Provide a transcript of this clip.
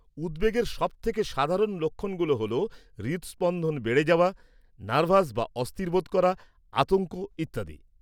উদ্বেগের সব থেকে সাধারণ লক্ষণগুলো হল হৃদস্পন্দন বেড়ে যাওয়া, নার্ভাস বা অস্থির বোধ করা, আতঙ্ক ইত্যাদি।